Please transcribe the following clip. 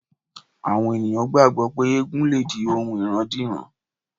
Àwọn ènìyàn gbàgbọ́ pé ègùn lè di ohun ìrandíran.